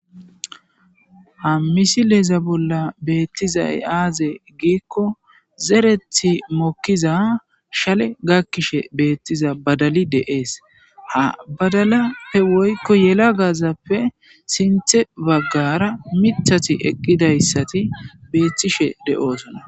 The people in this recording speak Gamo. Ha misileeza bolla beettizay aaze giikko zerethi mokkiza shale gakkishe beettiza badali deees ha badala he woykko yela gaazappe sinthe baggara mithati eqqidayssati beethtishe de7osona.